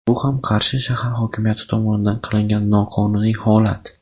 Bu ham Qarshi shahar hokimiyati tomonidan qilingan noqonuniy holat.